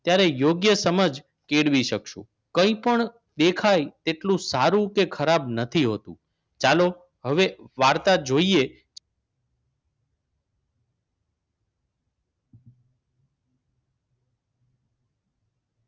ત્યારે યોગ્ય સમજ કેળવી શકશો. કંઈ પણ દેખાય તેટલો સારું કે ખરાબ નથી હોતું. ચાલો હવે વાર્તા જોઈએ